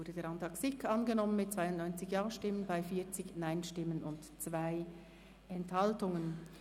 Der Antrag SiK ist angenommen worden mit 92 Ja- gegen 40 Nein-Stimmen bei 2 Enthaltungen.